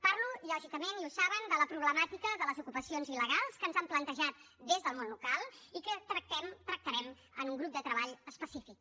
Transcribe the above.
parlo lògicament i ho saben de la problemàtica de les ocupacions il·legals que ens han plantejat des del món local i que tractarem en un grup de treball específic